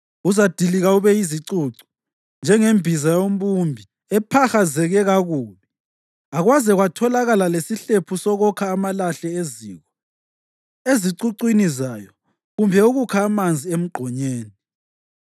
Uzadilika ube yizicucu, njengembiza yombumbi ephahazeke kakubi akwaze kwatholakala lesihlephu sokokha amalahle eziko ezicucwini zayo kumbe ukukha amanzi emgqonyeni.”